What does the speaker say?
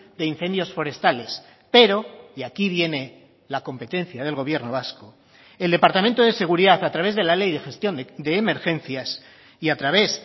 de incendios forestales pero y aquí viene la competencia del gobierno vasco el departamento de seguridad a través de la ley de gestión de emergencias y a través